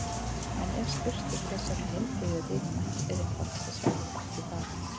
En ef spurt er hvers vegna heilbrigði er dýrmætt er einfaldasta svarið Af því bara!